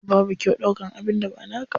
Babu kyau ɗaukan abin da ba naka ba.